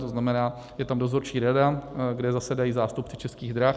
To znamená, je tam dozorčí rada, kde zasedají zástupci Českých drah.